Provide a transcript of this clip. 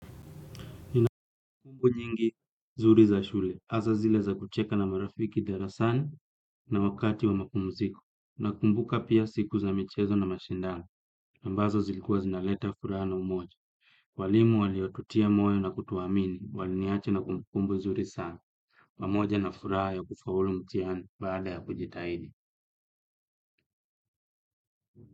Nina kumbukumbu nyingi zuri za shule, hasa zile za kucheka na marafiki darasani na wakati wa mapumziko, nakumbuka pia siku za michezo na mashindano, ambazo zilikuwa zinaleta furaha na umoja. Walimu waliotutia moyo na kutuamini, waliniacha na kumbukumbu zuri sana, pamoja na furaha ya kufaulu mtihani baada ya kujitahidi.